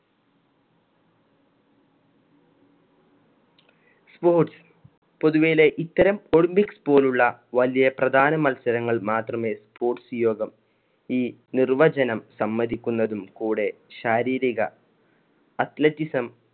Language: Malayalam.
sports പൊതുവെയിലെ ഇത്തരം olympics പോലുള്ള വലിയ പ്രധാന മത്സരങ്ങൾ മാത്രമേ sports യോഗം ഈ നിർവചനം സമ്മതിക്കുന്നതും കൂടെ ശാരീരിക athleticism